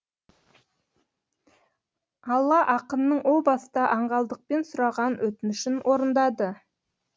алла ақынның о баста аңғалдықпен сұраған өтінішін орындады